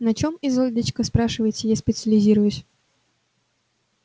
на чем изольдочка спрашиваете я специализируюсь